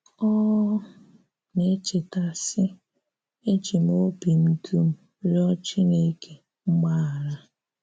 Ọ na-echéta, sị́: “Eji m obì m dum rịọ̀ Chinekè mgbaghara.”